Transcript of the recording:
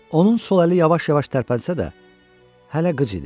Onun sol əli yavaş-yavaş tərpənsə də, hələ qıc idi.